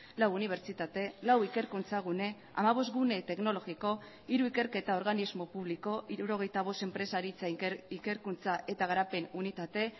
lau unibertsitate lau ikerkuntza gune hamabost gune teknologiko hiru ikerketa organismo publiko hirurogeita bost enpresaritza ikerkuntza eta garapen unitate